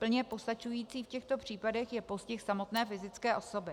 Plně postačující v těchto případech je postih samotné fyzické osoby.